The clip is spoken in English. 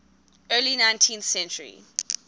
early nineteenth century